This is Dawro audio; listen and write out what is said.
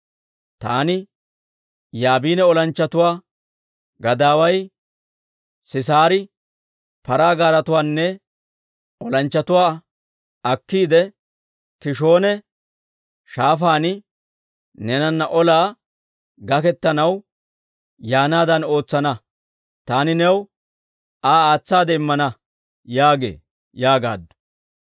Taani Yaabina olanchchatuwaa gadaaway Sisaari paraa gaaretuwaanne olanchchatuwaa akkiide, K'iishoona Shaafaan neenana olaa gaketanaw yaanaadan ootsana; taani new Aa aatsaade immana› yaagee» yaagaaddu.